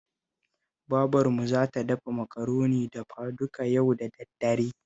Babarmu za ta dafa Makaroni dafaduka yau da daddare